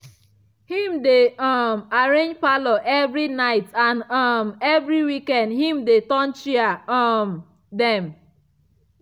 him dey um arrange parlour evri night and um evri weekend him de turn chair um dem.